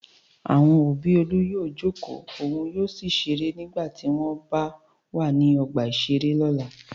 Àwọn òbí Olú yóò jókòó òun yóò sì ṣeré nígbà tí wọ́n b wà ní ọgbà-ìṣeré lọ́la.